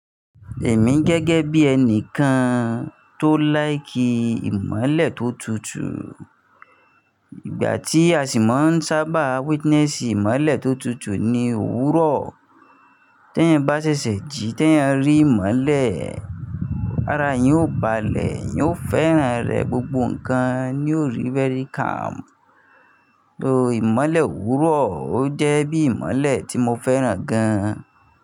Èmi gẹ́gẹ́ bí ẹni kan tó láìkí ìmọ́lẹ̀ tó tutù. Ìgbà tí a ṣì máa ń sábà witness ìmọ́lẹ̀ tó tutù ni òwúrọ̀. Tẹ́ yan bá ṣẹ̀ṣẹ̀ jí, tẹ́ yań rí ìmọ́lẹ̀. Ará yẹn ò báà lẹ̀, yẹn ó fẹ́ràn rẹ̀ gbogbo nǹkan ni ó rí very calm. So ìmọ́lẹ̀ òwúrọ̀ ó jẹ́ bí ìmọ́lẹ̀ tí mo fẹ́ràn gan.